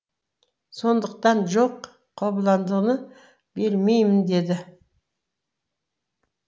сондықтан жоқ қобыландыны бермеймін деді